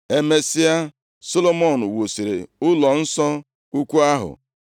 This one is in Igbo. Emesịa, Solomọn wusiri ụlọnsọ ukwu ahụ.